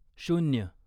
शून्य